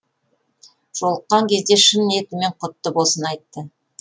жолыққан кезде шын ниетімен құтты болсын айтты